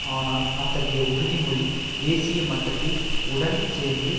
ஆனால் அத்தகைய உறுதி மொழி தேசிய மட்டத்தில் உடன் சேர்ந்து